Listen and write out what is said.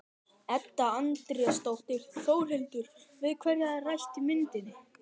Edda Andrésdóttir: Þórhildur, við hverja er rætt í myndinni?